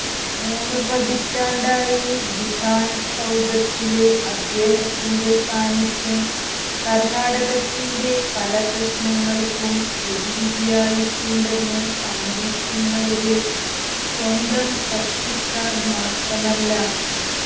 മൂന്നുപതിറ്റാണ്ടായി വിധാന് സൌധത്തില് അദ്ദേഹത്തിന്റെ സാന്നിധ്യം കര്ണാടകത്തിന്റെ പല പ്രശ്നങ്ങള്ക്കും പ്രതിവിധിയായിട്ടുണ്ടെന്ന് സമ്മതിക്കുന്നവര് സ്വന്തം കക്ഷിക്കാര്മാത്രമല്ല